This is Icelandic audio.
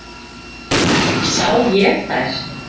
Sá ég þær.